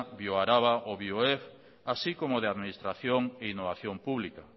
bioaraba o bioef así como de administración e innovación pública